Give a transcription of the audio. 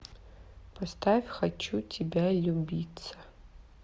поставь хочу тибя любицца